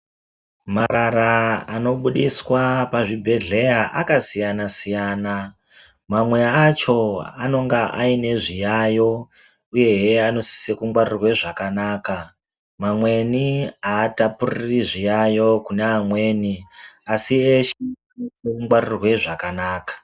Marara ano budiswa pazvibhedhleya aka siyana siyana mamwe acho anonga aine zviyayo uyehe anosise kungwarirwe zvakanaka mamweni atapuriri zviyayo kune amweni asi eshe anosise kungwarirwe zvakanaka.